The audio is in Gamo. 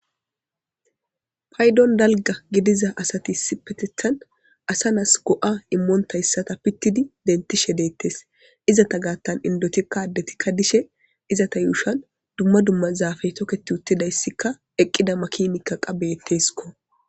paydon dalga gidiza asatisi petethan asa naas go7a immoonta yssata pittidi dentishe deettes izata gaattan indotikka addetikka dishe izata yuushan dumma dumma zaafaytoketi uttidayssikka eqqida makimikka qabetteskko